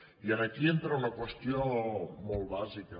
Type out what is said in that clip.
i aquí entra una qüestió molt bàsica